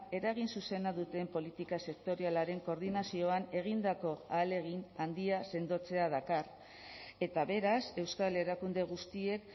eragin zuzena duten politika sektorialaren koordinazioan egindako ahalegin handia sendotzea dakar eta beraz euskal erakunde guztiek